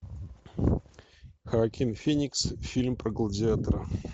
хоакин феникс фильм про гладиатора